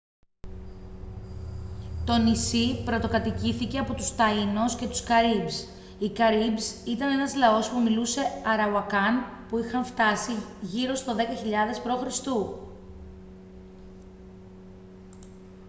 το νησί πρωτοκατοικήθηκε από τους taínos και τους caribes. οι caribes ήταν ένα λαός που μιλούσε arawakan που είχαν φτάσει γύρω στο 10.000 π.χ